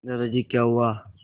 दादाजी क्या हुआ